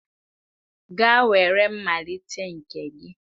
Gaa were mmalite nke gị